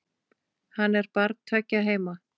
Hann er barn tveggja heima.